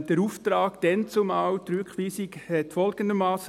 Der damalige Auftrag, die Rückweisung, lautete folgendermassen: